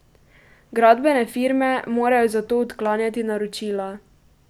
Gradbene firme morajo zato odklanjati naročila.